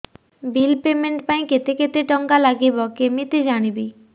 bill payment ପାଇଁ କେତେ କେତେ ଟଙ୍କା ଲାଗିବ କେମିତି ଜାଣିବି